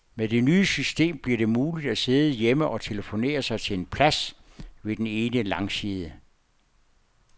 Med det nye system bliver det muligt at sidde hjemme og telefonere sig til en plads ved den ene langside.